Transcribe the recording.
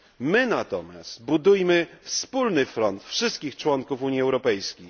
My natomiast budujmy wspólny front wszystkich członków Unii Europejskiej.